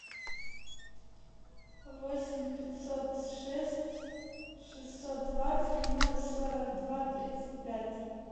восемь пятьсот шесть шестьсот двадцать ноль сорок два тридцать пять